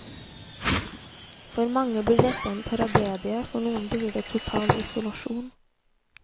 For mange blir dette en tragedie, for noen blir det total isolasjon.